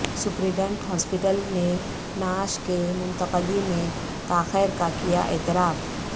superintendent hospital نے نعش کی منتقلی میں تاخیر کا کیا اعتراف